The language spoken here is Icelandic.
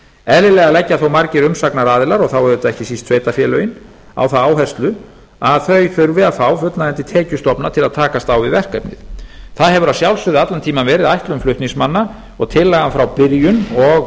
eðlilega leggja þó margir umsagnaraðilar og þá auðvitað ekki síst sveitarfélögin á það áherslu að þau þurfi að fá fullnægjandi tekjustofna til að takast á við verkefnið það hefur að sjálfsögðu allan tímann verið ætlun flutningsmanna og tillagan frá byrjun og